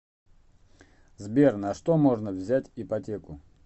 сбер на что можно взять ипотеку